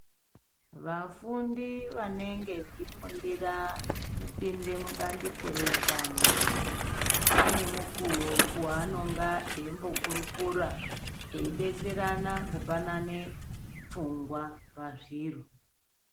Vafundi vanenge vechi fundira kupinde mu bandiko re utano ane mukuwo wanonga eimbo kurukura edetserane kupanane pfungwa pazviro.